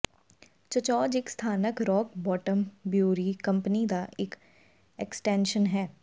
ਚਚੌਜ ਇੱਕ ਸਥਾਨਕ Rock Bottom brewery company ਦਾ ਇੱਕ ਐਕਸਟੈਨਸ਼ਨ ਹੈ